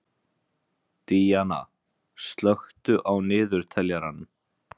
Díanna, slökktu á niðurteljaranum.